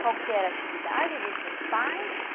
Qual que era a atividade dos seus pais?